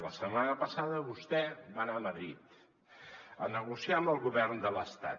la setmana passada vostè va anar a madrid a negociar amb el govern de l’estat